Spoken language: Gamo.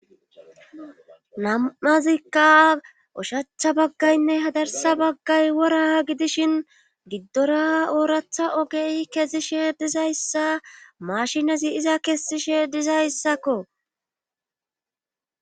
Nam'azikka oshacha baggaynne hadarsa baggay wora gidishin giddora ooratha ogey kezishe dizayssa mashinazi iza kessishe dizayssakko.